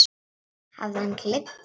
Hafði hann gleymt sér?